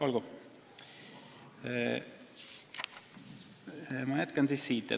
Olgu, ma jätkan siis siit.